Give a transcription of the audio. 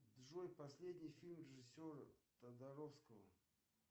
джой последний фильм режиссера тодоровского